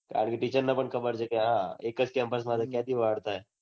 આવી teacher ને પણ ખબર છે કે એક જ campus માં તો ક્યાં થી વાર થાય